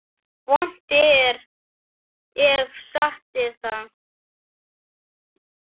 Vont er ef satt er.